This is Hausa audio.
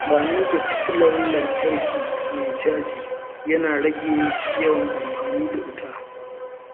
Amfani da fitilar lantarki mai caji yana rage yawan amfani da wuta.